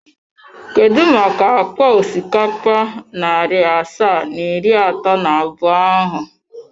Kedu maka akpa osikapa narị asaa na iri atọ na abụọ ahụ?